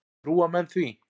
Trúa menn því?